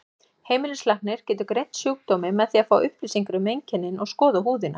Heimilislæknir getur greint sjúkdóminn með því að fá upplýsingar um einkennin og skoða húðina.